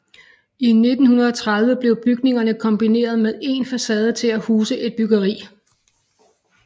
I 1930 blev bygningerne kombineret med én facade til at huse et bageri